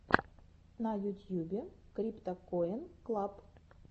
на ютьюбе криптакоин клаб